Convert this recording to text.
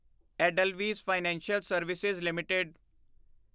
Edelweiss financial service LTD